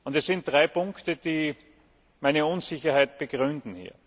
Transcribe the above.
Es sind drei Punkte, die meine Unsicherheit begründen.